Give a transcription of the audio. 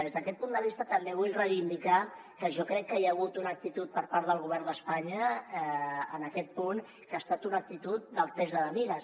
des d’aquest punt de vista també vull reivindicar que jo crec que hi ha hagut una actitud per part del govern d’espanya en aquest punt que ha estat una actitud d’altesa de mires